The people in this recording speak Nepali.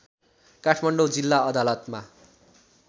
काठमाडौँ जिल्ला अदालतमा